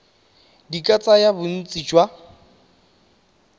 di ka tsaya bontsi jwa